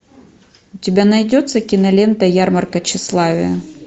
у тебя найдется кинолента ярмарка тщеславия